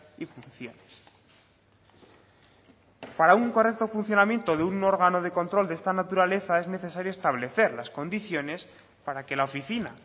y funciones para un correcto funcionamiento de un órgano de control de esta naturaleza es necesario establecer las condiciones para que la oficina